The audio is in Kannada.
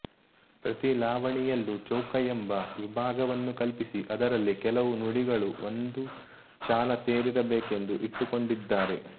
ಪ್ರತಿಲಾವಣಿಯಲ್ಲೂ ಚೌಕ ಎಂಬ ವಿಭಾಗವನ್ನು ಕಲ್ಪಿಸಿ ಅದರಲ್ಲಿ ಕೆಲವು ನುಡಿಗಳು ಒಂದು ಚಾಲ ಸೇರಿರಬೇಕೆಂದು ಇಟ್ಟುಕೊಂಡಿದ್ದಾರೆ